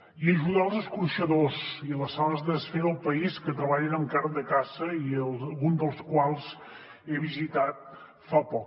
i ajudar els escorxadors i les sales de desfer del país que treballen amb carn de caça i un dels quals he visitat fa poc